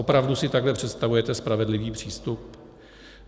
Opravdu si takhle představujete spravedlivý přístup?